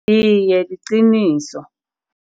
Iye, liqiniso.